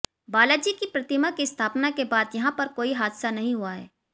बाला जी की प्रतिमा की स्थापना के बाद यहां पर कोई हादसा नहीं हुआ है